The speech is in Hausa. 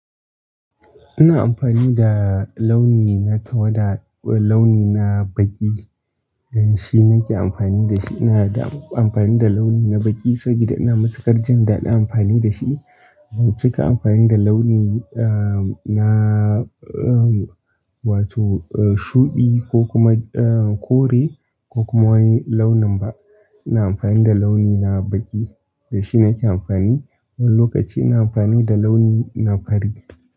Ina amfani da launi na tawada, launi na baƙi, don shi nake amfani da shi. Ina amfani da launi na baƙi saboda ina matukar jan daɗi amfani da shi. Ban cika amfani da launi, ah, na, uhm, wato shuɗi ko kuma, ah, kore ko kuma wani launin ba. Ina amfani da launi na baƙi, da shi nake amfani. Wani lokaci ina amfani da launi na fari.